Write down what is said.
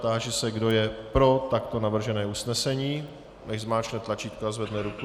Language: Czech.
Táži se, kdo je pro takto navržené usnesení, nechť zmáčkne tlačítko a zvedne ruku.